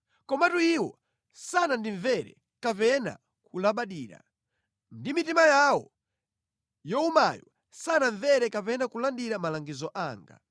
Komatu iwo sanandimvere kapena kulabadira. Ndi mitima yawo yowumayo sanamvere kapena kulandira malangizo anga.